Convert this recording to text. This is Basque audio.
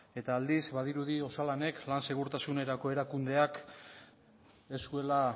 eta aldiz badirudi osalanek lan segurtasunerako erakundeak ez zuela